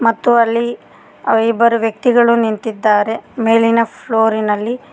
ಮತ್ತು ಅಲ್ಲಿ ಇಬ್ಬರು ವ್ಯಕ್ತಿಗಳು ನಿಂತಿದ್ದಾರೆ ಮೇಲಿನ ಫ್ಲೋರ್ ಇನಲ್ಲಿ.